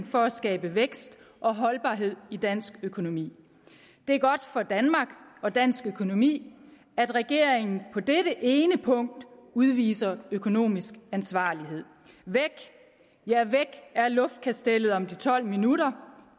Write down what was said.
for at skabe vækst og holdbarhed i dansk økonomi det er godt for danmark og dansk økonomi at regeringen på dette ene punkt udviser økonomisk ansvarlighed væk er luftkastellet om de tolv minutter